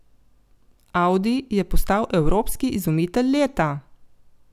Audi je postal evropski izumitelj leta.